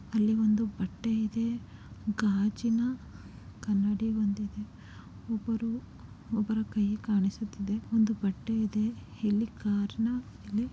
ಅಲ್ಲಿ ಒಂದು ಬಟ್ಟೆ ಇದೆ. ಗಾಜಿನಾ ಕನ್ನಡಿ ಒಂದಿದೆ. ಒಬ್ಬರು-ಒಬ್ಬರ ಕೈ ಕಾಣಿಸುತ್ತಿದೆ ಒಂದು ಬಟ್ಟೆಯಿದೆ. ಹಿಲ್ಲಿ ಕರ್ನ--